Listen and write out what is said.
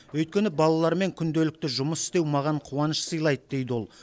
өйткені балалармен күнделікті жұмыс істеу маған қуаныш сыйлайды дейді ол